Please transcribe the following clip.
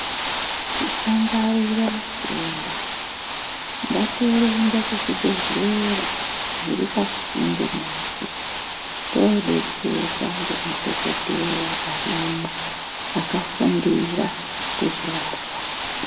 Tisangwarire matenda. Ngatirumbe kuzvibhedhlera zviri pasinde nesu todetserwa ngemadhokodheya arimwo akafundira kuzvirapa.